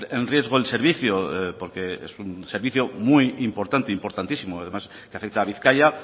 en riesgo el servicio porque es un servicio muy importante importantísimo además que afecta a bizkaia